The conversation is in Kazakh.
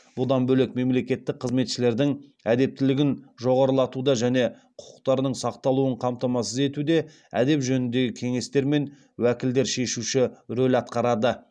бұдан бөлек мемлекеттік қызметшілердің әдептілігін жоғарылатуда және құқықтарының сақталуын қамтамасыз етуде әдеп жөніндегі кеңестер мен уәкілдер шешуші рөл атқарады